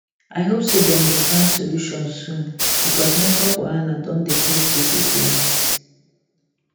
i hope say dem go find solution soon because network wahala don dey cost people plenty